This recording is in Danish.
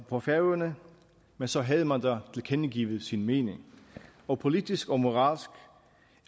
på færøerne men så havde man da tilkendegivet sin mening og politisk og moralsk